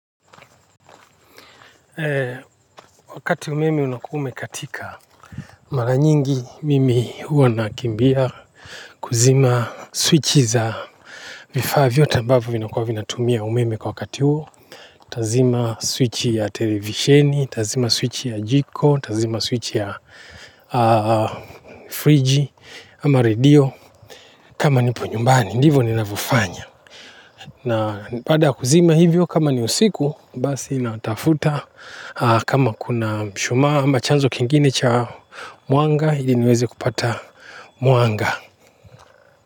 Wakati umeme unakuwa umekatika mara nyingi mimi huwa nakimbia kusima swichi za vifaa vyote ambavyo vinakuwa vinatumia umeme wakati huo nitasima u swichi ya televisheni nitasima swichi ya jiko nitasima swichi ya friji ama radio, kama nipo nyumbani, ndivo ninavyo fanya. Na pada kuzima hivyo kama ni usiku basi natafuta kama kuna mshuma ama chanzo kingine cha muanga hili niweze kupata muanga.